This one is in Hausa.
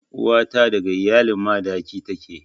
Uwa ta daga iyalan Madaki take.